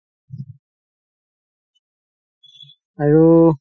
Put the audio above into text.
আৰু